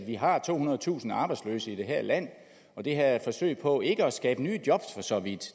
vi har tohundredetusind arbejdsløse i det her land det her er et forsøg på ikke at skabe nye job for så vidt